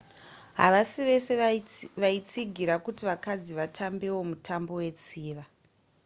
havasi vese vaitsigira kuti vakadzi vatambewo mutambo wetsiva